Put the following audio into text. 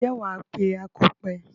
Ǹjẹ́ wà á pe akọ̀pẹ.